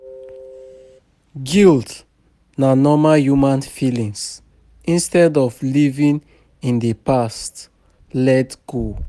Guilt na normal human feelings, instead of living in di past, let go